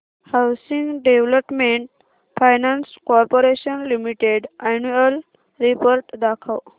housing development finance corporation limited annual report दाखव